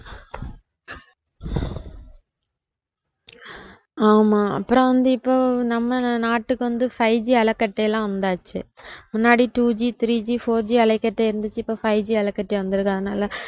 ஆமா அப்புறம் வந்து இப்போ நம்ம நாட்டுக்கு வந்து fiveG அலைக்கற்றையெல்லாம் வந்தாச்சு முன்னாடி twoGthreeGfourG அலைக்கற்றை இருந்துச்சு இப்ப fiveG அலைக்கற்றை வந்திருக்கு அதனால